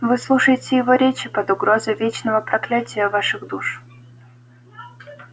вы слушаете его речи под угрозой вечного проклятия ваших душ